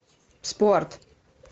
спорт